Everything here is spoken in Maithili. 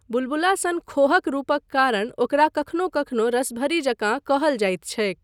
बुलबुला सन खोहक रूपक कारण ओकरा कखनो कखनो रसभरी जकाँ कहल जाइत छैक।